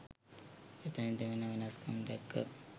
එතනදි වෙන වෙනස්කම් දැක්ක